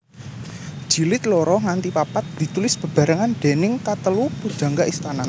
Jilid loro nganti papat ditulis bebarengan déning katelu pujangga istana